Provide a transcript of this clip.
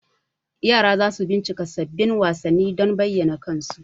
yara za su bincika sabbin wasanni don bayyana kansu.